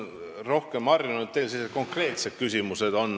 Ma olen harjunud, et teil on rohkem sellised konkreetsed küsimused.